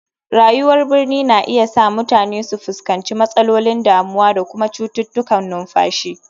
Rayuwar birni na iya sa mutane su fuskanci matsalolin damuwa da kuma cututtukan numfashi.